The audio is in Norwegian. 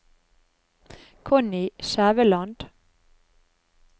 Connie Skjæveland